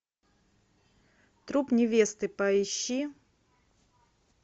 труп невесты поищи